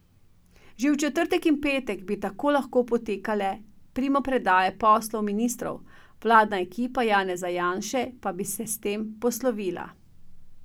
Že v četrtek in petek bi tako lahko potekale primopredaje poslov ministrov, vladna ekipa Janeza Janše pa bi se s tem poslovila.